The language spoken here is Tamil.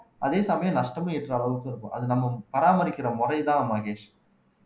அதே சமயம் நஷ்டமும் ஈட்ற அளவுக்கு இருக்கும் அது நம்ம பராமரிக்கிற முறைதான் மகேஷ்